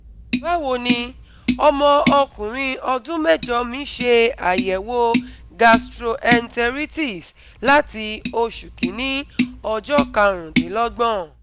bawoni, omo okunrin odun mejo mi se ayewo gastroenteritis lati osu kini ojo 25th